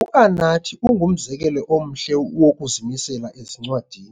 UAnathi ungumzekelo omhle wokuzimisela ezincwadini.